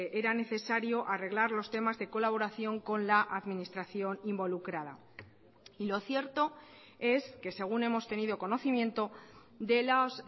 era necesario arreglar los temas de colaboración con la administración involucrada y lo cierto es que según hemos tenido conocimiento de los